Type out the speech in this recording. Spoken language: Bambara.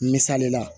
Misali la